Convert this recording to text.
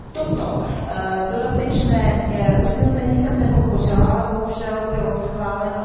Toto dodatečné usnesení jsem nepodpořila, ale bohužel bylo schváleno.